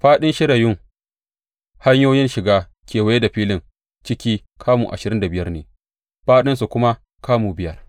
Fāɗin shirayun hanyoyin shiga kewaye da filin ciki kamu ashirin da biyar ne, fāɗinsu kuma kamu biyar.